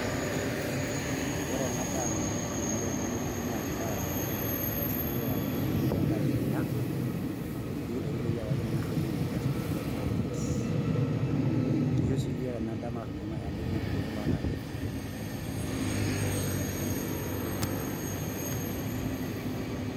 Ore enadaa nikituuno tenewueji nendaa toi naendelesha yiok amu ekitum iyiok endaa nikinya, nikintoki toi aku ekimir nikintoki aas inkulie projects. Kisho si yiok enadaa mataas amu enkinyang'u irkeek lontare.